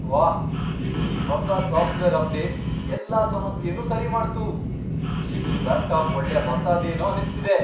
ವಾಹ್, ಈ ಹೊಸ ಸಾಫ್ಟ್ವೇರ್ ಅಪ್ಡೇಟ್ ಎಲ್ಲಾ ಸಮಸ್ಯೆನೂ ಸರಿ ಮಾಡ್ತು. ಈಗ್ ಈ ಲ್ಯಾಪ್ಟಾಪ್ ಒಳ್ಳೆ ಹೊಸಾದೇನೋ ಅನ್ಸ್ತಿದೆ!